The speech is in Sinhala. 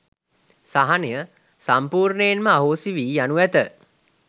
සහනය සම්පූර්ණයෙන්ම අහෝසි වී යනු ඇත.